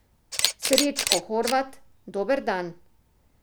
Srećko Horvat, dober dan!